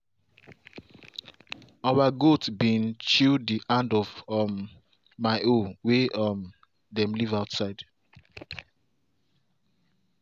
our goat bin chew the handle of um my hoe way um dem leave outside.